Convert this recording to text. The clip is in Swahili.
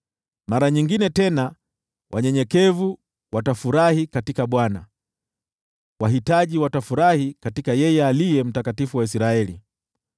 Mara nyingine tena wanyenyekevu watafurahi katika Bwana , wahitaji watafurahi katika yeye Aliye Mtakatifu wa Israeli.